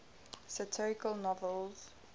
satirical novels